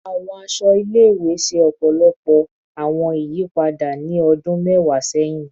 Awọn aṣọ ile-iwe ṣe ọpọlọpọ awọn iyipada ni ọdun mẹwa sẹhin